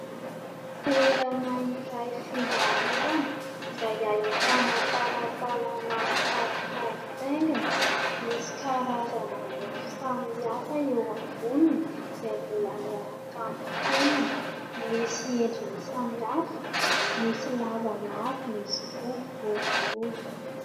Toerana iray fivarotana izay ahitana talantalana mifampitaingitaingina ; misy karazana mofo samihafa eo amboniny izay mbola miaraka amin'ny fonony. Misy endriny samy hafa, misy lavalava misy koa ny boribory.